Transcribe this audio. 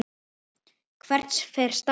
Hvert fer Stam?